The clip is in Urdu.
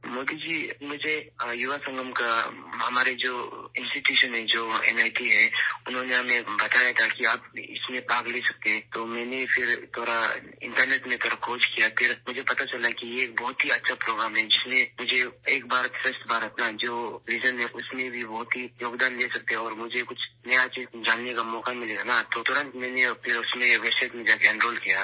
مودی جی، مجھے یووا سنگم کے بارے میں ، ہمارا جو انسٹی ٹیوٹ ہے ، جو این آئی ٹی ہیں ، انہوں نے ہمیں بتایا تھا کہ آپ اس میں شرکت کر سکتے ہیں تو میں نے تھوڑا انٹرنیٹ میں سرچ کیا تو مجھے معلوم ہوا کہ یہ ایک بہت اچھا پروگرام ہے، جو میرے ایک بھارت شریشٹھ بھارت کے ویژن میں بہت زیادہ تعاون کر سکتا ہے اور مجھے فوراً کچھ نیا سیکھنے کا موقع ملے گا، پھر میں نے ویب سائٹ پر جا کر اس میں اینرول کرا